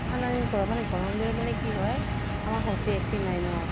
ঠান্দা দিন পৰক। মানে গৰম দিনত মানে কি হয় আমাৰ ঘৰত টো AC নাই ন